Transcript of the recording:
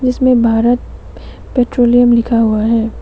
इसमें भारत पेट्रोलियम लिखा हुआ है।